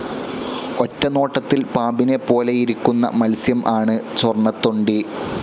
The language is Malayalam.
ഒറ്റനോട്ടത്തിൽ പാമ്പിനെ പോലെയിരിക്കുന്ന മത്സ്യം ആണ് സ്വർണ്ണത്തൊണ്ടി.